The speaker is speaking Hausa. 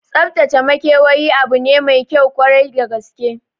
Tsaftace makewayi abu ne maikyau kwarai da gaske